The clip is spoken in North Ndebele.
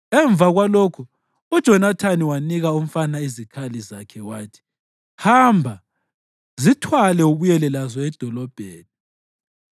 Emva kwalokho uJonathani wanika umfana izikhali zakhe wathi, “Hamba, zithwale ubuyele lazo edolobheni.”